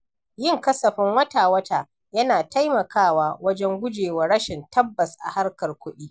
Yin kasafin wata-wata yana taimakawa wajen gujewa rashin tabbas a harkar kudi.